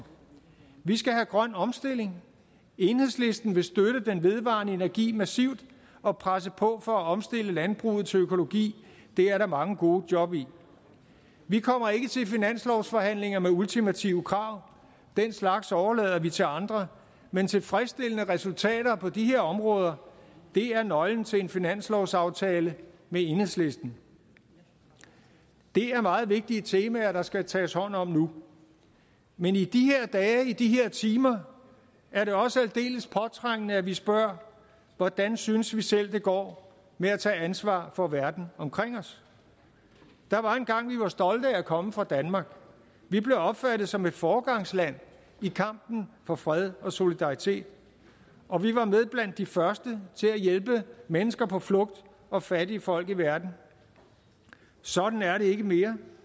vi skal have grøn omstilling enhedslisten vil støtte den vedvarende energi massivt og presse på for at omstille landbruget til økologi det er der mange gode job i vi kommer ikke til finanslovsforhandlinger med ultimative krav den slags overlader vi til andre men tilfredsstillende resultater på de her områder er nøglen til en finanslovsaftale med enhedslisten det er meget vigtige temaer der skal tages hånd om nu men i de her dage i de her timer er det også aldeles påtrængende at vi spørger hvordan synes vi selv det går med at tage ansvar for verden omkring os der var engang vi var stolte af at komme fra danmark vi blev opfattet som et foregangsland i kampen for fred og solidaritet og vi var med blandt de første til at hjælpe mennesker på flugt og fattige folk i verden sådan er det ikke mere